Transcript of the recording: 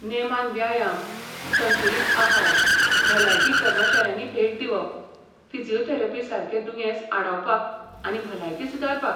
नेमान व्यायाम, संतुलीत आहार, भलायकी कर्मचाऱ्यांनी भेट दिवप, फिजिओथेरपी सारके दुयेंस आडावपाक आनी भलायकी सुदारपाक.